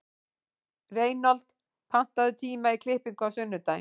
Reinhold, pantaðu tíma í klippingu á sunnudaginn.